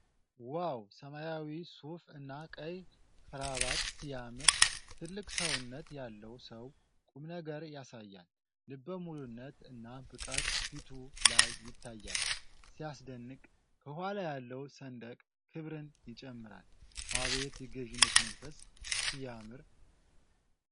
ዋው! ሰማያዊ ሱፍ እና ቀይ ክራባት ሲያምር! ትልቅ ሰውነት ያለው ሰው ቁምነገር ያሳያል። ልበ ሙሉነት እና ብቃት ፊቱ ላይ ይታያል። ሲያስደንቅ! ከኋላ ያለው ሰንደቅ ክብርን ይጨምራል። አቤት የገዢነት መንፈስ! ሲያምር!